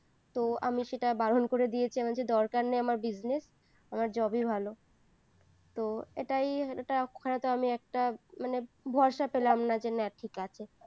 তো আমি সেটা বারণ করে দিয়েছি আমি বলছি দরকার নেই আমার business আমার job এই ভালো তো এটাই আমি একটা মানে ভরসা পেলাম না যে ঠিক আছে